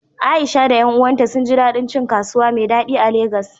Aisha da ƴan uwanta sun ji daɗin cin kasuwa mai daɗi a Legas.